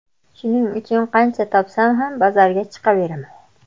Shuning uchun qancha topsam ham bozorga chiqaveraman.